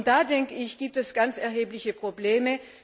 Da, denke ich, gibt es ganz erhebliche Probleme.